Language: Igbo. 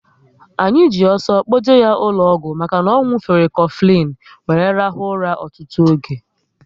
Anyị ji ọsọ kpoje ya ụlọ ọgwụ maka na ọ nwufere Kofilin wéré rahua ụra ọtụtụ oge